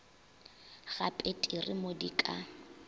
ga peteri mo di ka